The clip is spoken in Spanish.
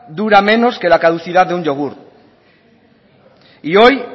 dura menos que la caducidad de un yogur y hoy